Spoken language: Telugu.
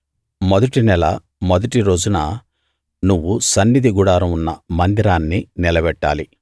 మొదటి నెల మొదటి రోజున నువ్వు సన్నిధి గుడారం ఉన్న మందిరాన్ని నిలబెట్టాలి